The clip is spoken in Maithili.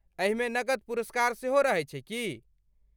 एहिमे नकद पुरस्कार सेहो रहैत छै की?